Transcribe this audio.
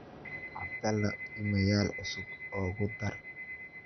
abdalla iimayl cusub ugu dhar